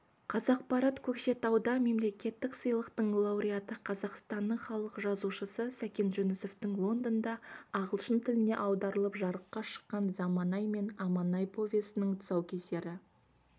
қазақпарат көкшетауда мемлекеттік сыйлықтың лауреаты қазақстанның халық жазушысы сәкен жүнісовтің лондонда ағылшын тіліне аударылып жарыққа шыққан заманай мен аманай повесінің тұсаукесері